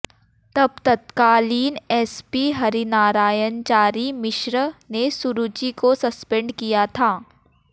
तब तत्कालीन एसपी हरिनारायणचारी मिश्र ने सुरुचि को सस्पेंड किया था